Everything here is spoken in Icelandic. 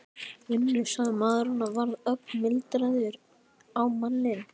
Vinnu? sagði maðurinn og varð ögn mildari á manninn.